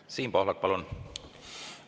Siim Pohlak, palun!